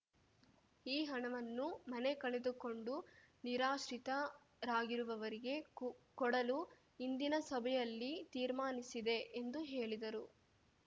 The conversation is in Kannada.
ಈ ಹಣವನ್ನು ಮನೆ ಕಳೆದುಕೊಂಡು ನಿರಾಶ್ರಿತರಾಗಿರುವವರಿಗೆ ಕೊಡಲು ಇಂದಿನ ಸಭೆಯಲ್ಲಿ ತೀರ್ಮಾನಿಸಿದೆ ಎಂದು ಹೇಳಿದರು